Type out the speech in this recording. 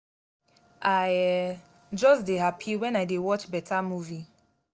i um just dey happy wen i dey watch beta movie